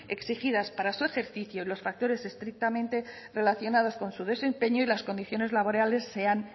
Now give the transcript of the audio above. exigidas para su ejercicio en los factores estrictamente relacionados con su desempeño y las condiciones laborales sean